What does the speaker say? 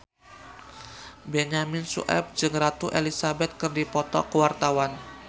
Benyamin Sueb jeung Ratu Elizabeth keur dipoto ku wartawan